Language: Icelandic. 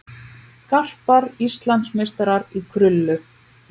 Garpar Íslandsmeistarar í krullu